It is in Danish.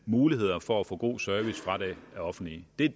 muligheder for at få god service fra det offentlige det